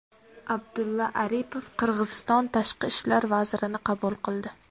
Abdulla Aripov Qirg‘iziston tashqi ishlar vazirini qabul qildi.